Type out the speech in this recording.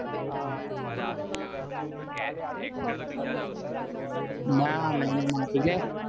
actor બીજા આવસે ને કોઈ કેએમ કે